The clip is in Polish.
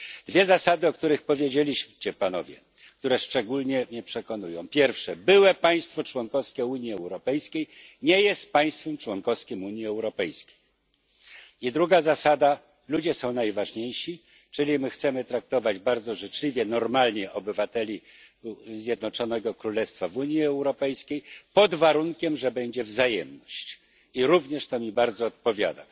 Dwie zasady, o których Panowie powiedzieli, a które mnie szczególnie przekonują po pierwsze, byłe państwo członkowskie Unii Europejskiej nie jest państwem członkowskim Unii Europejskiej, po drugie, ludzie są najważniejsi, czyli my chcemy traktować bardzo życzliwie i normalnie obywateli Zjednoczonego Królestwa w Unii Europejskiej, pod warunkiem że będzie wzajemność i to podejście również bardzo mi odpowiada.